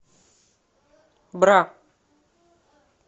бра